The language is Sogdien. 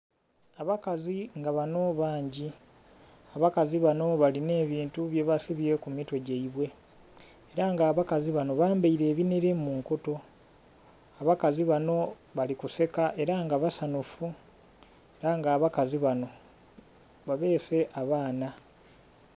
Abakazi nga banho bangi, abakazi banho nga balinha ebintu byebasibye ku mitwe gyaibwe. ela nga abakazi banho bambaile ebinhele mu nkoto. Abakazi banho bali kuseka ela nga basanhufu, ela nga abakazi banho babeese abaana.